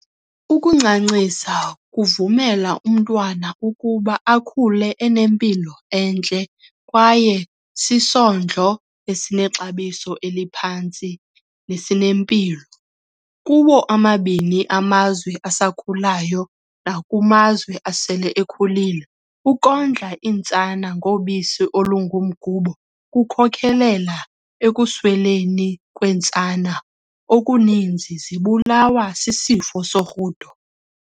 Ukuncancisa kuvumela umntwana ukuba akhule enempilo entle kwayesisondlo esinexabiso eliphantsi nesinempilo. Kuwo omabini amazweasakhulayo naku mazwe asele ekhulile, ukondla iintsana ngobisi olungumgubo kukhokelela ekuswelekeni kweentsana okuninzi zibulawa sisifo sorhudo.